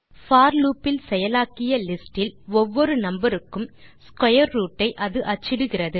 போர் loop இல் செயலாக்கிய list இல் ஒவ்வொரு நம்பர் க்கும் ஸ்க்வேர் ரூட் ஐ அது அச்சிடுகிறது